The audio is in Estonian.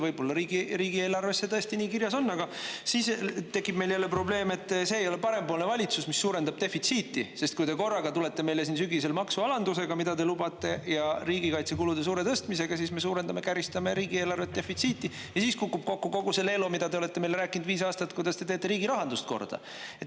Võib-olla riigieelarves see tõesti nii kirjas on, aga siis tekib meil jälle probleem, et see ei ole parempoolne valitsus, mis suurendab defitsiiti, sest kui te korraga tulete meile siin sügisel maksualandusega, mida te lubate, ja riigikaitsekulude suure tõstmisega, siis me suurendame, käristame riigieelarvet defitsiiti ja siis kukub kokku kogu see leelo, mida te olete meile rääkinud viis aastat, kuidas te teete riigirahandust korda.